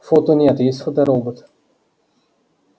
фото нет есть фоторобот